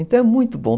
Então é muito bom.